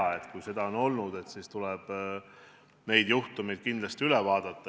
Kui selliseid juhtumeid on olnud, siis tuleb need kindlasti üle vaadata.